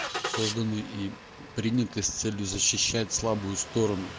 созданный и приняты с целью защищать слабую сторону